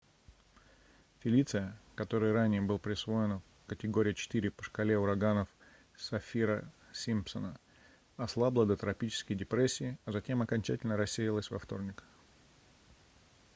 фелиция которой ранее был присвоена категория 4 по шкале ураганов саффира-симпсона ослабла до тропической депрессии а затем окончательно рассеялась во вторник